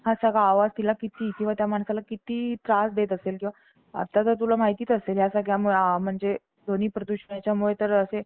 संत एकनाथ महाराजांच्या समाधी विषयी आपण अध्यात्मिक कथा बघत आहोत.